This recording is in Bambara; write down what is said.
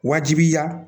Wajibiya